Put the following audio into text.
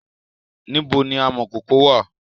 Níbo ni amọ̀kọkò wà?